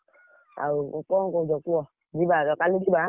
ଆଉ କଣ କହୁଛ କୁହ, ଯିବା ହେଲା କାଲି ଯିବା।